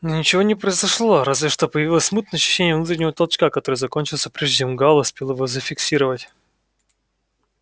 но ничего не произошло разве что появилось смутное ощущение внутреннего толчка который закончился прежде чем гаал успел его зафиксировать